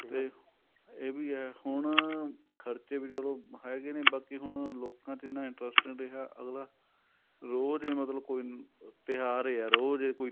ਤੇ ਇਹ ਵੀ ਏ ਹੁਣ ਖ਼ਰਚੇ ਵੀ ਚਲੋ ਹੈਗੇ ਨੇ ਬਾਕੀ ਹੁਣ ਲੋਕਾਂ ਚ ਇੰਨਾ interest ਨਹੀਂ ਰਿਹਾ ਅਗਲਾ ਰੋਜ ਹੀ ਮਤਲਬ ਕੋਈ ਤਿਉਹਾਰ ਏ ਹੈ ਰੋਜ ਈ ਕੋਈ